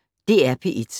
DR P1